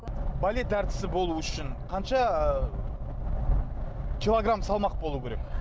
балет әртісі болуы үшін қанша ы килограмм салмақ болуы керек